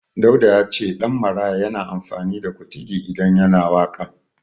Dauda ya ce Ɗanmaraya yana amfani da Kutugi idan yana waƙa.